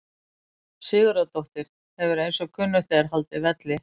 Sigurðardóttir hefur eins og kunnugt er haldið velli.